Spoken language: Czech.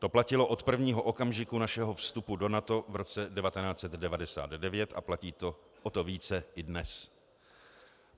To platilo od prvního okamžiku našeho vstupu do NATO v roce 1999 a platí to o to více i dnes.